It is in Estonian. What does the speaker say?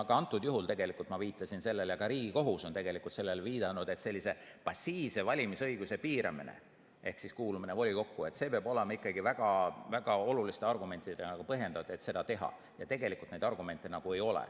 Ka antud juhul ma viitasin sellele ja ka Riigikohus on sellele viidanud, et sellise passiivse valimisõiguse piiramine ehk kuulumine volikokku peab olema ikkagi väga oluliste argumentidega põhjendatud, et seda teha, aga tegelikult neid argumente ei ole.